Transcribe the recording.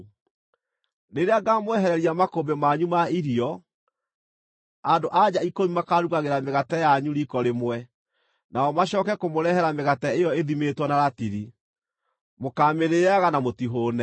Rĩrĩa ngaamwehereria makũmbĩ manyu ma irio, andũ-a-nja ikũmi makaarugagĩra mĩgate yanyu riiko rĩmwe, nao macooke kũmũrehera mĩgate ĩyo ĩthimĩtwo na ratiri. Mũkaamĩrĩĩaga na mũtihũũne.